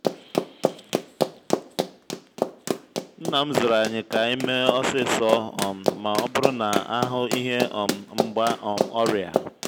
nna m zụruru anyị ka anyị mee osisor um ma ọ bụrụ na a hụ ihe um mgba um ọrịa.